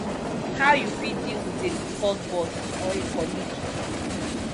how you fit deal with a difficult boss or a colleague